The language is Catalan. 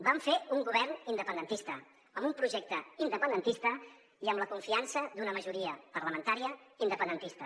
vam fer un govern independentista amb un projecte independentista i amb la confiança d’una majoria parlamentària independentista